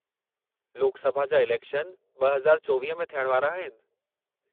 लोक सभा जा इलेक्शन 2024 में थियण वारा आहिनि।